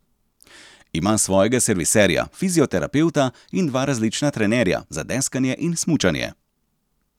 Ima svojega serviserja, fizioterapevta in dva različna trenerja, za deskanje in smučanje.